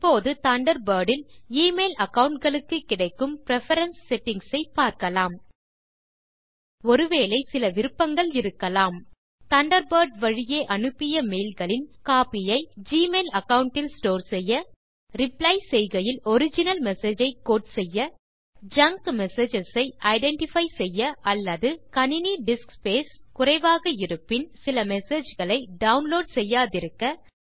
இப்போது தண்டர்பர்ட் இல் email account களுக்கு கிடைக்கும் பிரெஃபரன்ஸ் settingsஐ பார்க்கலாம் ஒரு வேளை சில விருப்பங்கள் இருக்கலாம் தண்டர்பர்ட் வழியே அனுப்பிய மெய்ல்களின் காபியை ஜிமெயில் அகாவுண்ட் இல் ஸ்டோர் செய்ய ரிப்ளை செய்கையில் ஒரிஜினல் மெசேஜ் ஐ கோட் செய்ய ஜங்க் மெசேஜஸ் ஐ ஐடென்டிஃபை செய்ய அல்லது கணினி டிஸ்க் ஸ்பேஸ் குறைவாக இருப்பின் சில மெசேஜ் களை டவுன்லோட் செய்யாதிருக்க